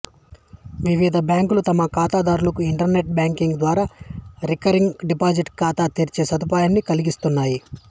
వివిధ బ్యాంకులు తమ ఖాతాదారులకు ఇంటర్నెట్ బ్యాంకింగ్ ద్వారా రికరింగ్ డిపాజిట్ ఖాతా తెరిచే సదుపాయాన్ని కల్పిస్తున్నాయి